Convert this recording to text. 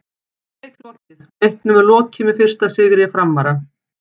Leik lokið: Leiknum er lokið með fyrsta sigri Framara!!